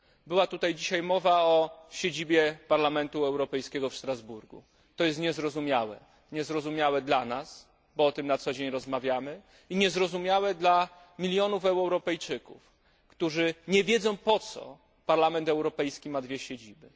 Była tutaj dzisiaj mowa o siedzibie Parlamentu Europejskiego w Strasburgu. To jest niezrozumiałe dla nas, bo o tym na co dzień rozmawiamy, i niezrozumiałe dla milionów Europejczyków, którzy nie wiedzą, po co Parlament Europejski ma dwie siedziby.